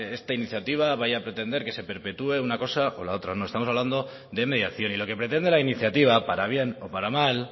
esta iniciativa vaya a pretender que se perpetué una cosa o la otra no estamos hablando de mediación y lo que pretende la iniciativa para bien o para mal